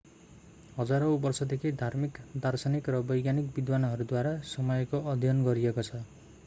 हजारौँ वर्षदेखि धार्मिक दार्शनिक र वैज्ञानिक विद्वानहरूद्वारा समयको अध्ययन गरिएको छ